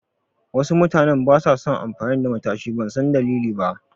Wasu mutanen basa son amfani da matashi, ban san dalili ba.